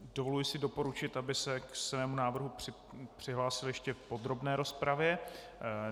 Dovoluji si doporučit, aby se k svému návrhu přihlásil ještě v podrobné rozpravě.